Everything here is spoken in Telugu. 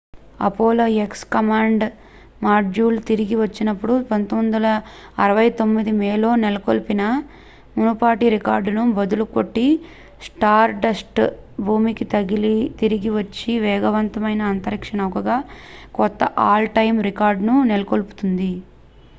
అపోలో ఎక్స్ కమాండ్ మాడ్యూల్ తిరిగి వచ్చినప్పుడు 1969 మేలో నెలకొల్పిన మునుపటి రికార్డును బద్దలు కొట్టి స్టార్డస్ట్ భూమికి తిరిగి వచ్చిన వేగవంతమైన అంతరిక్ష నౌకగా కొత్త ఆల్-టైమ్ రికార్డ్ను నెలకొల్పుతుంది